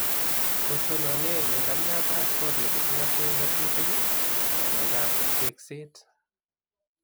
Kotonone membyat ab kot neking'ate ngatutik ngalek ab tekset